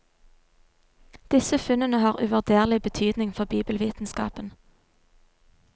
Disse funnene har uvurderlige betydning for bibelvitenskapen.